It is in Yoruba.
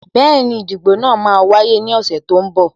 Bẹẹni, ìdìbò náà máa wáyé ní ọ̀sẹ̀ tó ń bọ̀